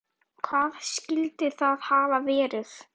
Hvað skyldi það hafa verið?